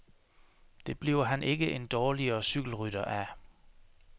Det bliver han ikke en dårligere cykelrytter af.